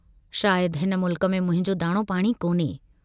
शायद हिन मुल्क में मुंहिंजो दाणो पाणी कोन्हे।